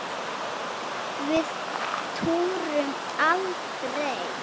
Við túrum aldrei!